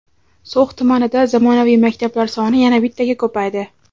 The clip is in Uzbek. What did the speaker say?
So‘x tumanida zamonaviy maktablar soni yana bittaga ko‘paydi.